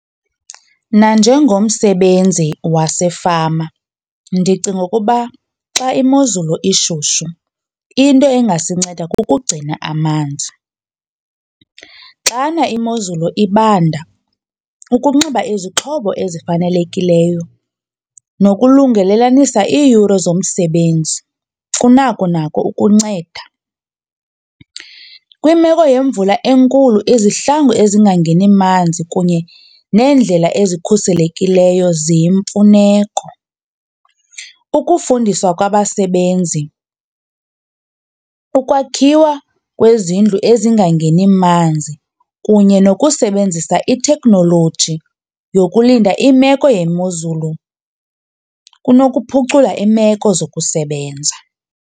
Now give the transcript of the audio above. Nanjengomsebenzi wasefama ndicinga ukuba xa imozulu ishushu into engasinceda kukugcina amanzi. Xana imozulu ibanda ukunxiba izixhobo ezifanelekileyo nokulungelelanisa iiyure zomsebenzi kunako nako ukunceda. Kwimeko yemvula enkulu izihlangu ezingangeni manzi kunye neendlela ezikhuselekileyo ziyimfuneko. Ukufundisa kwabasebenzi, ukwakhiwa kwezindlu ezingangeni manzi kunye nokusebenzisa itheknoloji yokulinda imeko yemozulu kunokuphucula iimeko zokusebenza.